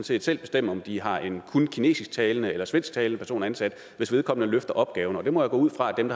set selv bestemme om de har en kun kinesisktalende eller svensktalende person ansat hvis vedkommende løfter opgaven og det må jeg gå ud fra at dem